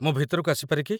ମୁଁ ଭିତରକୁ ଆସିପାରେ କି?